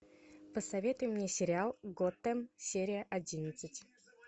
посоветуй мне сериал готэм серия одиннадцать